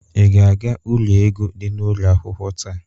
Ị ga-aga ụlọ egwu di na ụlọ akwụkwọ taa?